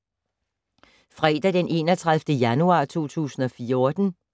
Fredag d. 31. januar 2014